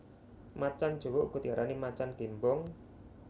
Macan jawa uga diarani macan gémbong